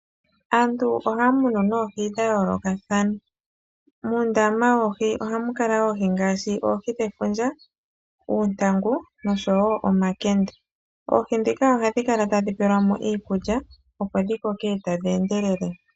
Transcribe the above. Aantu ohaya muna noohi dha yoolokathana. Muundama woohi ohamu kala oohi ngaashi oohi dhefundja, oontangu noshowo omakende. Oohi ndhika ohadhi kala tadhi pelwa mo iikulya opo dhi koke tadhi endelele.